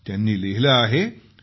त्यांनी लिहिले आहे की